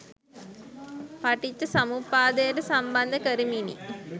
පටිච්චසමුප්පාදයට සම්බන්ධ කරමිනි.